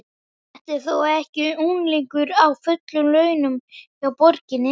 Þetta er þó ekki unglingur á fullum launum hjá borginni?